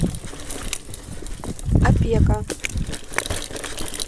опека